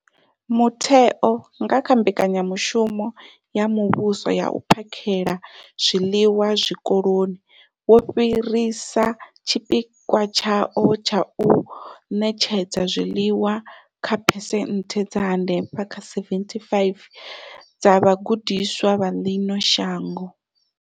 Mutheo, nga kha Mbekanyamushumo ya Muvhuso ya u phakhela zwiḽiwa zwikoloni, wo fhirisa tshipikwa tshawo tsha u ṋetshedza zwiḽiwa kha phesenthe dza henefha kha 75 dza vhagudiswa vha ḽino shango.